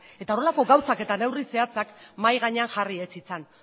eta horrelako gauzak eta neurri zehatzak mahai gainean jarri ez zitzan